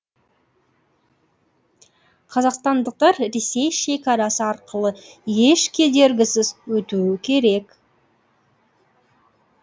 қазақстандықтар ресей шекарасы арқылы еш кедергісіз өтуі керек